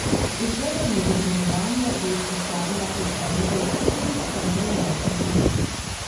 Vzgojo in izobraževanje je izpostavila kot enega od ključnih stebrov naše družbe.